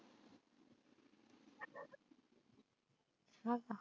हो का!